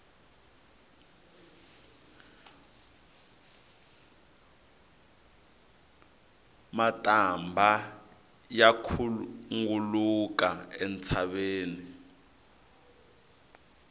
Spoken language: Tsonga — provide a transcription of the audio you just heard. matambha ya khunguluka entshaveni